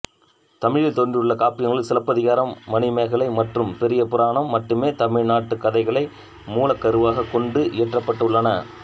தமிழில் தோன்றியுள்ள காப்பியங்களுள் சிலப்பதிகாரம் மணிமேகலை மற்றும் பெரியபுராணம் மட்டுமே தமிழ்நாட்டுக் கதைகளை மூலக் கருவாகக் கொண்டு இயற்றப்பட்டுள்ளன